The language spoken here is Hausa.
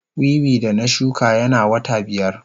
Wiwi da na shuka yana wata biyar.